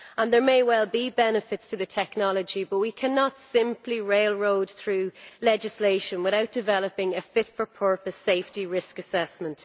There may well be benefits to the technology, but we cannot simply railroad through legislation without developing a fit for purpose safety risk assessment.